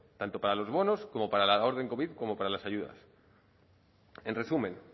tanto para los bonos como para la orden covid como para las ayudas en resumen